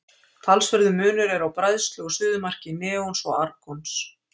Talsverður munur er á bræðslu og suðumarki neons og argons.